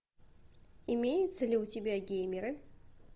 имеется ли у тебя геймеры